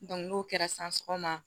n'o kɛra san ma